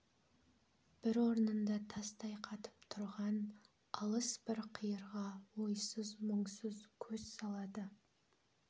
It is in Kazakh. бір орнында тастай қатып тұрған алыс бір қиырға ойсыз-мұңсыз көз салады